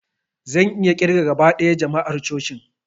Zan iya ƙirga gaba ɗaya jama'ar cocin